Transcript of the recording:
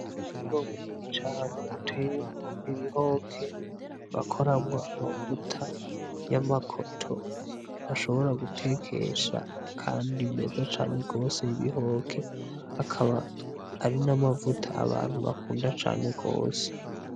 Umurima munini cane utuyemwo ibihoke bakoramwo amavuta y'amakoto bashobora gutekesha kandi meza cane gose y'ibihoke, akaba ari n'amavuta abantu bakunda cane gose.